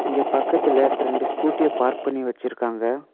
இங்க பக்கத்துல ரெண்டு ஸ்கூட்டிய பார்க் பண்ணி வச்சுருக்காங்க.